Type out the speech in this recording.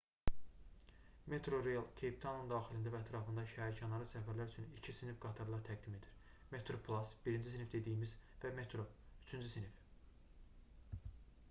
metrorail keyptaunun daxilində və ətrafında şəhərkənarı səfərlər üçün iki sinif qatarlar təqdim edir: metroplus birinci sinif dediyimiz və metro üçüncü sinif